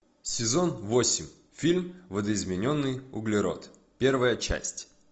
сезон восемь фильм видоизмененный углерод первая часть